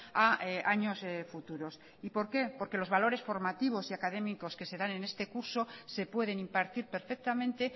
a años futuros y por qué porque los valores formativos y académicos que se dan en este curso se pueden impartir perfectamente